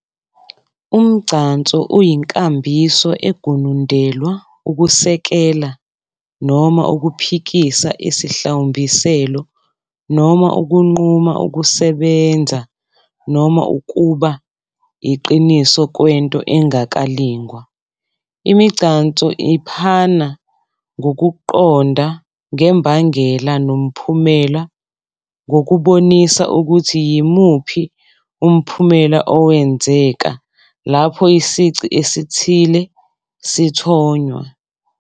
UmGcanso uyinkambiso egunundelwa ukusekela noma ukuphikisa isihlawumbiselo, noma ukunquma ukusebenza noma ukuba iqiniso kwento engakalingwa. Imigcanso iphana ngokuqonda ngembangela-nomphumela ngokubonisa ukuthi yimuphi umphumela owenzeka lapho isici esithile sithonywa.